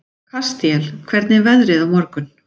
Kastíel, hvernig er veðrið á morgun?